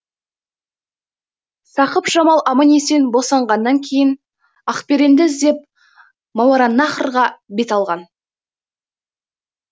сақып жамал аман есен босанғаннан кейін ақберенді іздеп мауараннахрға бет алған